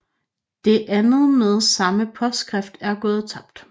Det andet med samme påskrift er gået tabt